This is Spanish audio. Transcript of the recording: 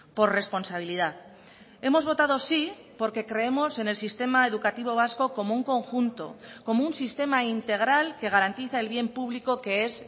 por responsabilidad hemos votado sí porque creemos en el sistema educativo vasco como un conjunto como un sistema integral que garantiza el bien público que es